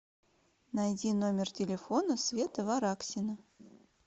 найди номер телефона света вараксина